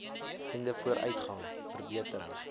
einde vooruitgang verbetering